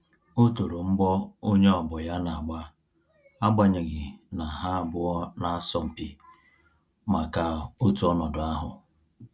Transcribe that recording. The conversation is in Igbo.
O toro mgbọ onye ọgbọ ya na-agba agbanyeghi na ha abụọ na-asọ mpi maka otu ọnọdụ ahụ